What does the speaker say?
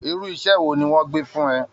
Irú iṣẹ́ wo ni wọ́n gbé fún ẹ!